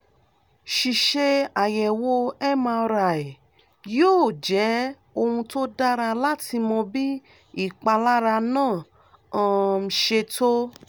ṣíṣe àyẹ̀wò mri yóò jẹ́ ohun tó dára láti mọ bí ìpalára náà um ṣe tó